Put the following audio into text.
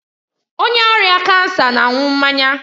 Onye ọrịa kansa na-aṅụ mmanya